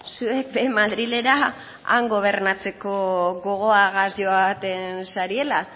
zuek be madrilera han gobernatzeko gogoagaz joaten zariela